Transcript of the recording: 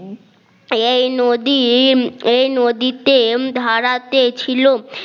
এই নদীএই নদীতে ধারাতে ছিল সেই নদী